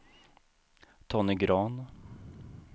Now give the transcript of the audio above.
Tony Grahn